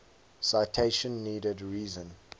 citation needed reason